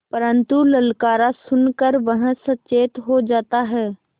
परन्तु ललकार सुन कर वह सचेत हो जाता है